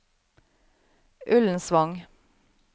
Ullensvang